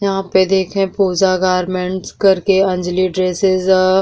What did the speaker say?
यहाँँ पे देखे पूजा गारमेंटस करके अंजली ड्रेसस ह --